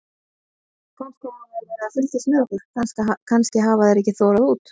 Kannski hafa þeir verið að fylgjast með okkur, kannski hafa þeir ekki þorað út.